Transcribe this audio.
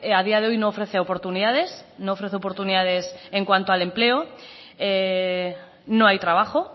a día de hoy no ofrece oportunidades no ofrece oportunidades en cuanto al empleo no hay trabajo